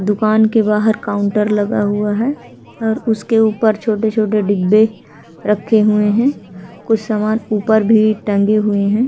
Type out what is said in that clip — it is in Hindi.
दुकान के बाहर काउंटर लगा हुआ है और उसके ऊपर छोटे-छोटे डिब्बे रखे हुए हैं। कुछ सामान ऊपर भी टंगे हुए हैं।